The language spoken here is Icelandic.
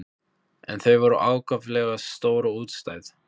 En þau voru ákaflega stór og útstæð.